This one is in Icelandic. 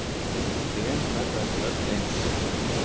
Trén verða ekki öll eins.